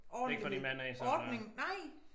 Ordentlig ordning nej